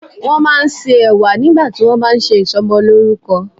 Wọ́n máa ń se Ẹ̀wà nígbà tí wón bá ṣe ìsọmọlórúkọ.